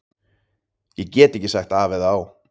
Ég get ekki sagt af eða á.